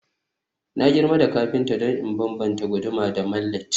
Na girma da kafinta don in bambanta guduma da mallet